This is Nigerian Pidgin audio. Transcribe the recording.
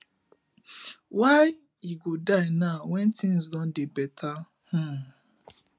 why e go die now when things don dey better um